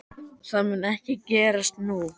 Það mun ekki gerast nú.